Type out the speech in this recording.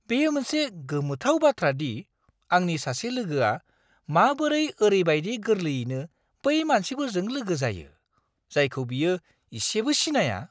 बेयो मोनसे गोमोथाव बाथ्रा दि आंनि सासे लोगोआ माबोरै ओरैबायदि गोरलैयैनो बै मानसिफोरजों लोगो जायो, जायखौ बियो इसेबो सिनाया!